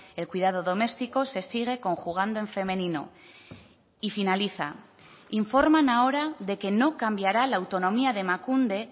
el cuidado doméstico se sigue conjugando en femenino y finaliza informan ahora de que no cambiará la autonomía de emakunde